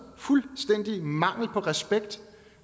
fuldstændig mangel på respekt